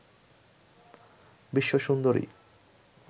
বিশ্ব সুন্দরী